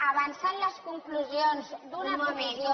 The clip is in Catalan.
avançant les conclusions d’una comissió